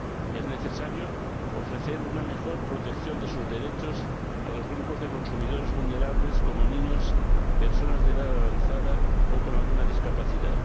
Es necesario ofrecer una mejor protección de sus derechos a los grupos de consumidores vulnerables como niños, personas de edad avanzada o con alguna discapacidad.